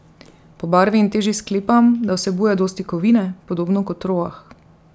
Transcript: Po barvi in teži sklepam, da vsebuje dosti kovine, podobno kot roah.